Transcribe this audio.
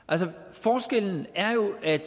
forskellen er jo at